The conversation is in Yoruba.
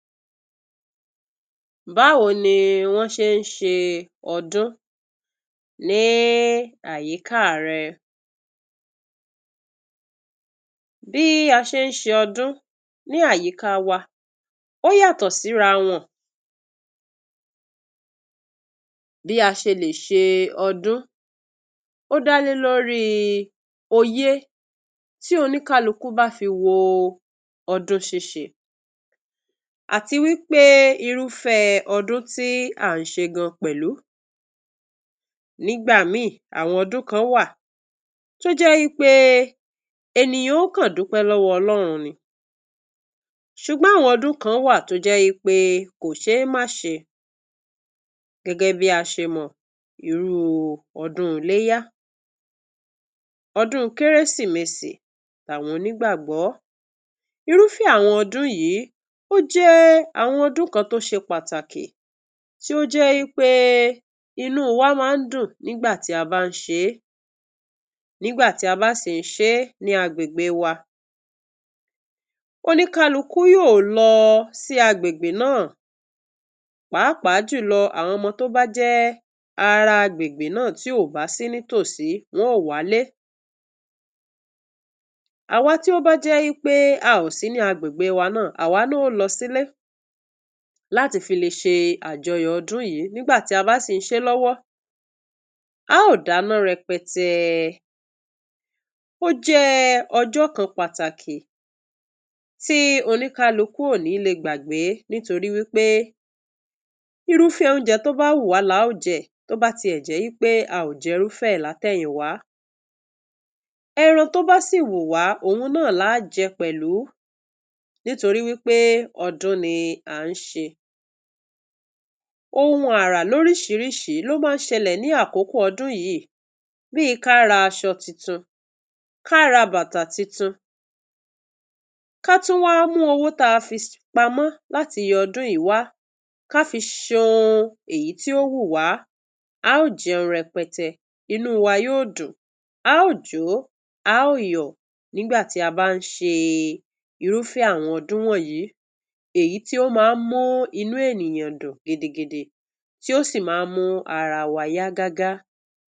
Báwo ni wọ́n ṣe ń ṣe ọdún ní àyíká rẹ? Bí a ṣe ń ṣe ọdún ní àyíká wa ó yàtọ̀ síra wọn. Bí a ṣe lè ṣe ọdún, ó dá lórí òye tí oníkálukú bá fi wo ọdún ṣíṣe, àti wí pé irúfẹ́ ọdún tí à ń ṣe gan pẹ̀lú. Nígbà míì, àwọn ọdún kan wà tó jẹ́ wí pé ènìyàn ó kàn dúpẹ́ lọ́wọ́ Ọlọ́run ni. Ṣùgbọ́n àwọn ọdún kan wà tó jẹ́ wí pé kò ṣe é má ṣe gẹ́gẹ́ bí a ṣe mọ̀, irú ọdún iléyá, ọdún kérésimesì tàwọn onígbàgbọ́. Irúfẹ́ àwọn ọdún yìí, ó jẹ́ àwọn ọdún kan tó ṣe pàtàkì tí ó jẹ́ wí pé inú wa máa ń dùn nígbà tí a bá ń ṣe é. Nígbà tí a bá sì ń ṣe é ní agbègbè wa, oníkálukú yóò lọ sí agbègbè náà, pàápàá jùlọ àwọn ọmọ tó bá jẹ́ ará agbègbè náà tí ò bá sí ní tòsí, wọn óò wálé. Àwa tí ó bá jẹ́ wí pé a ò sí ní agbègbè wa náà, àwa náà ó lọ sílé láti fi le ṣe àjọyọ̀ ọdún yìí. Nígbà tí a bá sì ń ṣe é lọ́wọ́, a óò dáná rẹpẹtẹ. Ó jẹ́ ọjọ́ kan pàtàkì tí oníkálukú ò ní le gbàgbé nítorí wí pé irúfẹ́ oúnjẹ tó bá wù wá la ó jẹ, tó bá tiẹ̀ jẹ́ pé a ò jẹ irú rẹ̀ látẹ̀yìnwá. Ẹran tó bá sì wù wá òun náà làá jẹ pẹ̀lú nítorí wí pé ọdún ni à ń ṣe. Ohun àrà lóríṣìíríṣìí ló máa ń ṣẹlẹ̀ ní àkókò ọdún yìí bíi ká ra aṣo titun, ká ra bátà titun, ká tún wá mú owó táa fi pamọ́ láti iye ọdún yìí wá, ká fi ṣe ohun èyí tí ó wù wá. A ó jẹun rẹpẹtẹ, inú wa yóò dùn, a óò jó, a óò yọ̀ nígbà tí a bá ń ṣe irúfẹ́ àwọn ọdún wọ̀nyìí, èyí tí ó máa ń mú inú ènìyàn dùn gidigidi tí ó sì máa ń mú ara wa yá gágá.